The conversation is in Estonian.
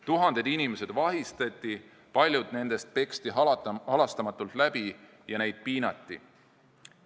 Tuhanded inimesed vahistati, paljud neist peksti halastamatult läbi ja neid piinati.